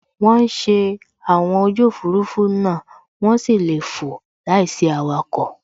Wọ́n ń ṣe àwọn ojú Òfurufú náà, wọ́n sì lè fò láìsí awakọ̀